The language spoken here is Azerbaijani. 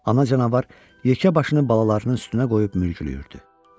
Ana canavar yekə başını balalarının üstünə qoyub mürgülüyürdü.